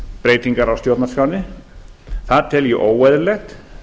breytingar á stjórnarskránni það tel ég óeðlilegt